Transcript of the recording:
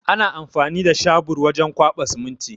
Ana amfani da shabur wajen kwaɓa siminti.